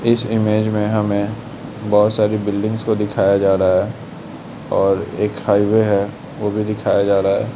इस इमेज में हमे बहुत सारी बिल्डिंग को दिखाया जा रहा है और एक हाइवे है वो भी दिखाया जा रहा है।